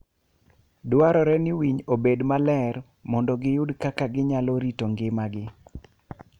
Dwarore ni winy obed maler mondo giyud kaka ginyalo rito ngimagi.